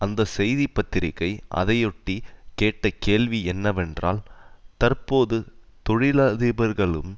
அந்த செய்தி பத்திரிகை அதையொட்டி கேட்ட கேள்வி என்னவென்றால் தற்போது தொழிலதிபர்களும்